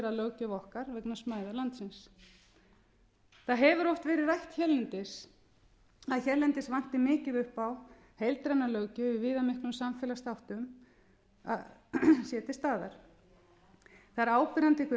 er að löggjöf okkar vegna smæðar landsins það hefur oft verið rætt hérlendis að hérlendis vanti mikið upp á að heildræn löggjöf í viðamiklum samfélagsþáttum sé til staðar það er áberandi hve